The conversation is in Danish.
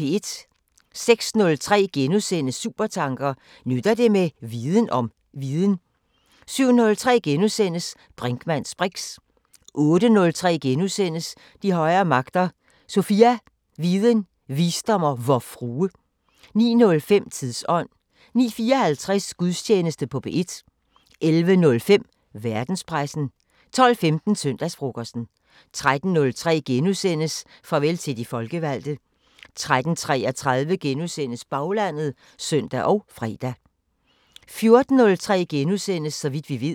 06:03: Supertanker: Nytter det med viden om viden? * 07:03: Brinkmanns briks * 08:03: De højere magter: Sofia – viden, visdom og Vor Frue. * 09:05: Tidsånd 09:54: Gudstjeneste på P1 11:03: Verdenspressen 12:15: Søndagsfrokosten 13:03: Farvel til de folkevalgte * 13:33: Baglandet *(søn og fre) 14:03: Så vidt vi ved *